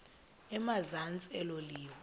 emazantsi elo liwa